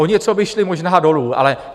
O něco by šly možná dolů, ale...